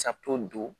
don